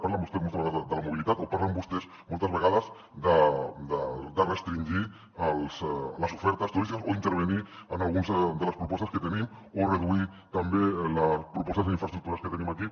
parlen vostès moltes vegades de la mobilitat o parlen vostès moltes vegades de restringir les ofertes turístiques o intervenir en algunes de les propostes que tenim o reduir també les propostes en infraestructures que tenim aquí